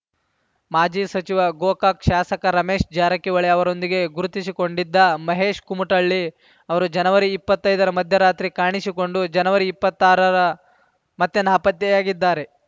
ಮಾಜಿ ಸಚಿವ ಗೋಕಾಕ ಶಾಸಕ ರಮೇಶ್‌ ಜಾರಕಿಹೊಳಿ ಅವರೊಂದಿಗೆ ಗುರುತಿಸಿಕೊಂಡಿದ್ದ ಮಹೇಶ ಕುಮಟಳ್ಳಿ ಅವರು ಜನವರಿ ಇಪ್ಪತ್ತೈದರ ಮಧ್ಯರಾತ್ರಿ ಕಾಣಿಸಿಕೊಂಡು ಜನವರಿ ಇಪ್ಪತ್ತಾರರ ಮತ್ತೆ ನಾಪತ್ತೆಯಾಗಿದ್ದಾರೆ